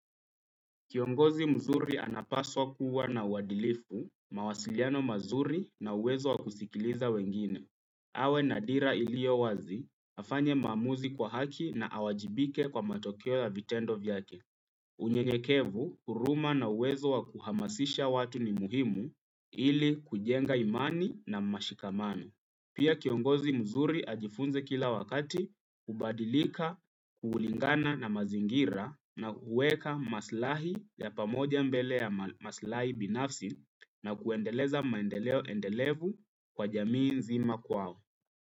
Kiongozi mzuri anapaswa kuwa na uadilifu, mawasiliano mazuri na uwezo wa kusikiliza wengine. Awe na dira ilio wazi, afanye maamuzi kwa haki na awajibike kwa matokeo ya vitendo vyake. Unyenyekevu, huruma na uwezo wa kuhamasisha watu ni muhimu ili kujenga imani na mashikamano. Pia kiongozi mzuri ajifunze kila wakati, kubadilika, kulingana na mazingira na kuweka maslahi ya pamoja mbele ya maslahi binafsi na kuendeleza maendeleo endelevu kwa jamii nzima kwao.